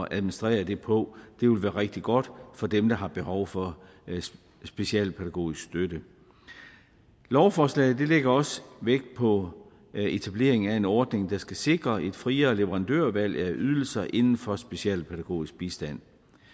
administrere det på det vil være rigtig godt for dem der har behov for specialpædagogisk støtte lovforslaget lægger også vægt på etableringen af en ordning der skal sikre et friere leverandørvalg af ydelser inden for specialpædagogisk bistand